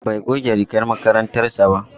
Bai goge rigar makarantar sa ba.